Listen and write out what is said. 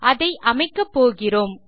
அதை அமைக்கப்போகிறோம்